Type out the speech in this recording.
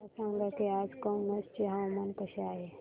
मला सांगा की आज कनौज चे हवामान कसे आहे